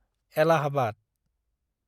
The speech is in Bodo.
एलाहाबाद